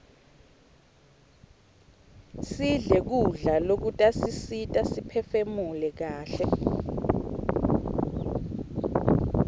sidle kudla lokutasisita siphefumule kaihle